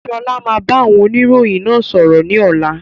Sọlá máa bá oniroyin náà sọ̀rọ̀ ni ọ̀la.